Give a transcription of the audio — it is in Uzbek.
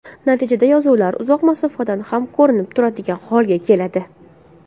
Natijada yozuvlar uzoq masofadan ham ko‘rinib turadigan holga keladi.